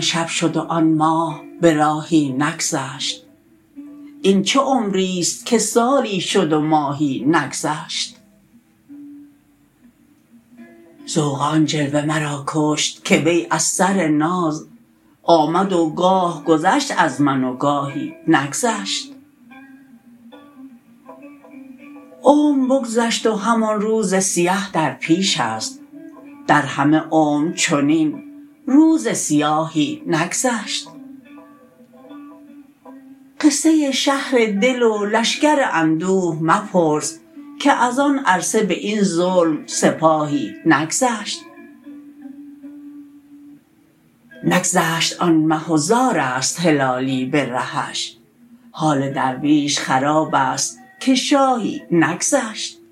شب شد و آن ماه براهی نگذشت این چه عمریست که سالی شد و ماهی نگذشت ذوق آن جلوه مرا کشت که وی از سر ناز آمد و گاه گذشت از من و گاهی نگذشت عمر بگذشت و همان روز سیه در پیشست در همه عمر چنین روز سیاهی نگذشت قصه شهر دل و لشکر اندوه مپرس که از آن عرصه باین ظلم سیاهی نگذشت نگذشت آن مه و زارست هلالی برهش حال درویش خرابست که شاهی نگذشت